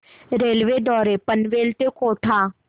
railway द्वारे पनवेल ते कोटा